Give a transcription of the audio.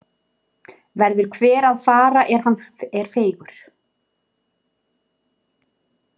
Verður hver að fara er hann er feigur.